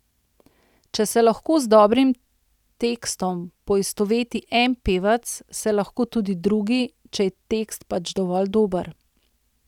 Če se lahko z dobrim tekstom poistoveti en pevec, se lahko tudi drugi, če je tekst pač dovolj dober.